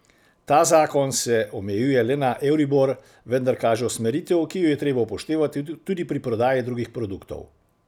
Ta zakon se omejuje le na euribor, vendar kaže usmeritev, ki jo je treba upoštevati tudi pri prodaji drugih produktov.